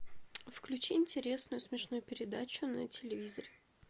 включи интересную смешную передачу на телевизоре